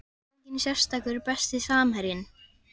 Enginn sérstakur Besti samherjinn?